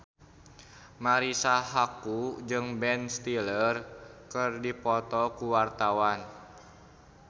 Marisa Haque jeung Ben Stiller keur dipoto ku wartawan